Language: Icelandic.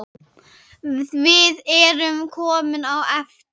Við erum komin á eftir.